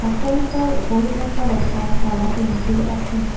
অট্টালিকাৰ ওপৰিভাগত এটা ক'লা টেংকিও আছে।